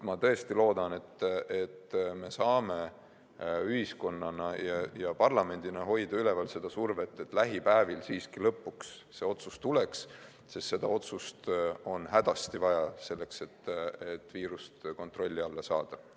Ma tõesti loodan, et me saame ühiskonnana ja parlamendina hoida üleval seda survet, et lähipäevil siiski lõpuks see otsus tuleks, sest seda otsust on hädasti vaja, selleks et viirus kontrolli alla saada.